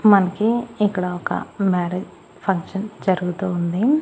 మనకి ఇక్కడ ఒక మ్యారేజ్ ఫంక్షన్ జరుగుతూ ఉంది.